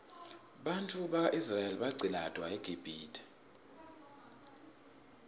bantfwana baka israel baqcilatwa eqibhitue